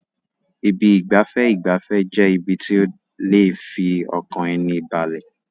Ibi ìgbafẹ́ ìgbafẹ́ jẹ́ ibi tí ó lè fi ọkàn ẹni balẹ̀.